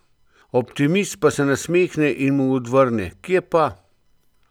Optimist pa se nasmehne in mu odvrne: 'Kje pa.